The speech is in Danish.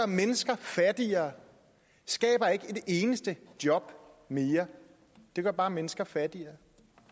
mennesker fattigere skaber ikke et eneste job mere det gør bare mennesker fattigere